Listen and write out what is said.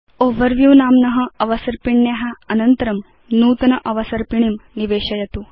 overview नाम्न अवसर्पिण्या अनन्तरं नूतन अवसर्पिणीं निवेशयतु